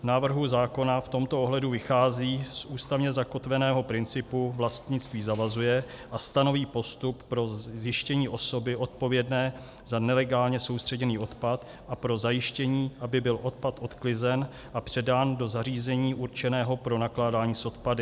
Návrh zákona v tomto ohledu vychází z ústavně zakotveného principu "vlastnictví zavazuje" a stanoví postup pro zjištění osoby odpovědné za nelegálně soustředěný odpad a pro zajištění, aby byl odpad odklizen a předán do zařízení určeného pro nakládání s odpady.